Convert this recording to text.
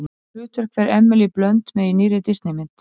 Hvaða hlutverk fer Emily Blunt með í nýrri Disney mynd?